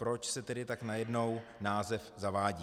Proč se tedy tak najednou název zavádí?